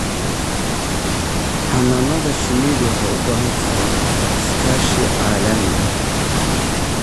Xannaanada shinnidu waxay u baahan tahay iskaashi caalami ah.